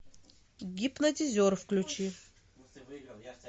гипнотизер включи